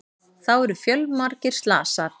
Þá eru fjölmargir slasað